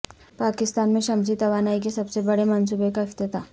پاکستان میں شمسی توانائی کے سب سے بڑے منصوبے کا افتتاح